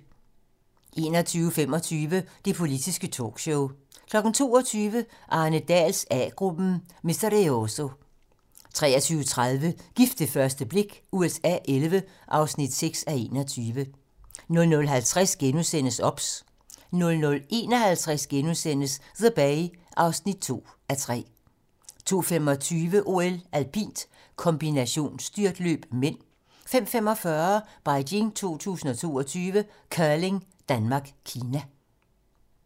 21:25: Det politiske talkshow 22:00: Arne Dahls A-gruppen: Misterioso 23:30: Gift ved første blik USA XI (6:21) 00:50: OBS * 00:51: The Bay (2:3)* 02:25: OL: Alpint kombinationsstyrtløb (m) 05:45: Beijing 2022: Curling: Danmark - Kina